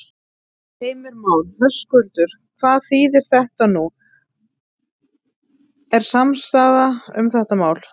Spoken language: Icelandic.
Heimir Már: Höskuldur, hvað þýðir þetta, nú er samstaða um þetta mál?